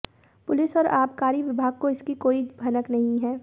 police और आबकारी विभाग को इसकी कोई भनक नहीं है